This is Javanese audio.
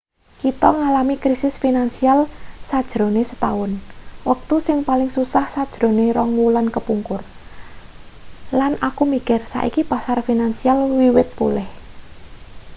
kita ngalami krisis finansial sajrone setaun wektu sing paling susah sajrone rong wulan kepungkur lan aku mikir saiki pasar finansial wiwit pulih